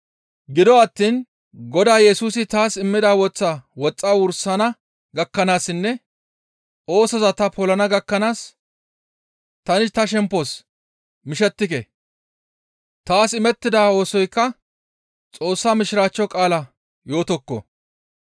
Gido attiin Godaa Yesusi taas immida woththaa woxxa wursana gakkanaassinne oosoza ta polana gakkanaas tani ta shemppos mishettike; taas imettida oosoykka Xoossaa mishiraachcho qaalaa yootokko.